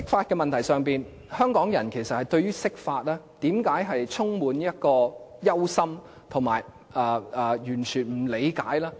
其實為何香港人對於釋法充滿憂心，以及完全不理解呢？